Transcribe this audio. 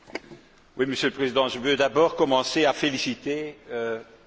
Monsieur le Président, je veux d'abord commencer par féliciter M.